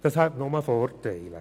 Dies hätte nur Vorteile: